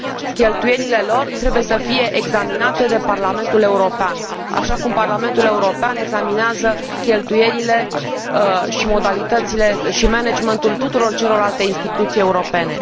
Cheltuielile lor trebuie să fie examinate de Parlamentul European, așa cum Parlamentul European examinează cheltuielile și managementul tuturor celorlalte instituții europene.